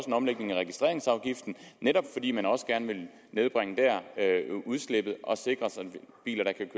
en omlægning af registreringsafgiften netop fordi man også gerne vil nedbringe udslippet og sikre sig biler der kan